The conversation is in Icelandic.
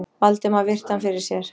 Valdimar virti hann fyrir sér.